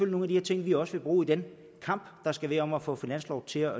nogle af de ting vi også vil bruge i den kamp der skal være om at få finansloven til at